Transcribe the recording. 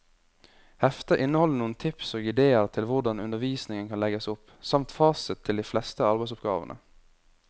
Heftet inneholder noen tips og idéer til hvordan undervisningen kan legges opp, samt fasit til de fleste arbeidsoppgavene.